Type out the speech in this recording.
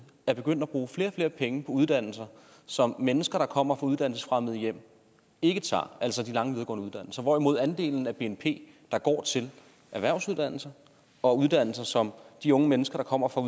er begyndt at bruge flere og flere penge på uddannelser som mennesker der kommer fra uddannelsesfremmede hjem ikke tager altså de lange videregående uddannelser hvorimod andelen af bnp der går til erhvervsuddannelser og uddannelser som de unge mennesker der kommer fra